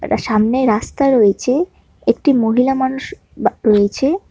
একটা সামনের রাস্তা রয়েছে একটি মহিলা মানুষ বা রয়েছে।